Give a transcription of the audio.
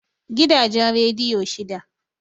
Gidajen rediyo shida